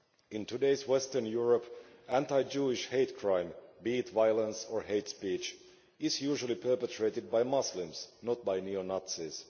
In today's Western Europe, anti Jewish hate crime, be it violence or hate speech, is usually perpetrated by Muslims, not by neo Nazis.